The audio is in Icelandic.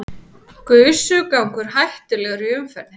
Gusugangur hættulegur í umferðinni